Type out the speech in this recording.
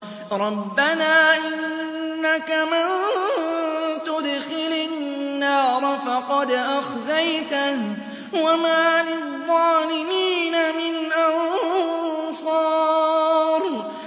رَبَّنَا إِنَّكَ مَن تُدْخِلِ النَّارَ فَقَدْ أَخْزَيْتَهُ ۖ وَمَا لِلظَّالِمِينَ مِنْ أَنصَارٍ